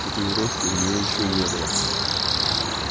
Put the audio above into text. татуировки у неё ещё не было